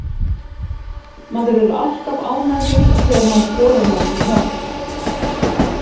Maður er alltaf ánægður þegar maður skorar nokkur mörk.